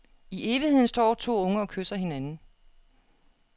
I evigheden står to unge og kysser hinanden.